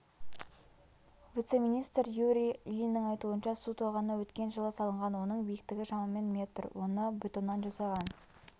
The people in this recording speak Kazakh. вице-министр юрий ильиннің айтуынша су тоғаны өткен жылы салынған оның биіктігі шамамен метр оны бетоннан жасаған